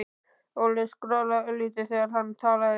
Óli skrollaði örlítið þegar hann talaði.